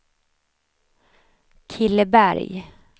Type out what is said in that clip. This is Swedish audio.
Killeberg